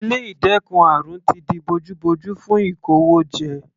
Ilé ìdẹ́kun àrùn ti di bojú bojú fún ìkówójẹ.